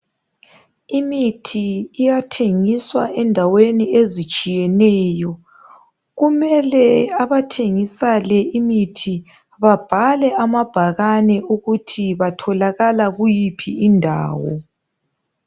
imithi iyathengiswa endaweni ezitshiyeneyo kumele abathengisa le imithi babhale amabhakane ukuthi batholakala kuyiphi indawo